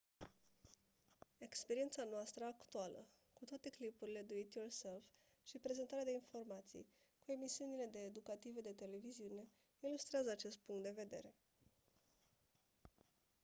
experiența noastră actuală cu toate clipurile diy și prezentarea de informații cu emisiunile de educative de televiziune ilustrează acest punct de vedere